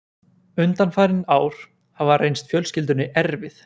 Undanfarin ár hafa reynst fjölskyldunni erfið